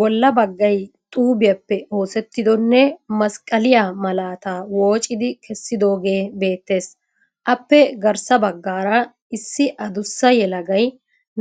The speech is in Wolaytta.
Bolla baggay xuubiyappe oosettidonne masqaliyaa malaataa woccidi keesidoogee beettees. Appe garssa baggaara issi adussa yelagay